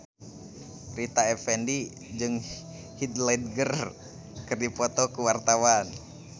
Rita Effendy jeung Heath Ledger keur dipoto ku wartawan